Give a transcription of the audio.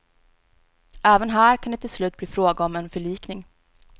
Även här kan det till slut bli fråga om en förlikning.